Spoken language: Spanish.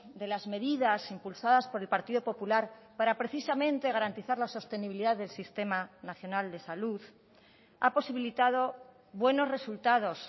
de las medidas impulsadas por el partido popular para precisamente garantizar la sostenibilidad del sistema nacional de salud ha posibilitado buenos resultados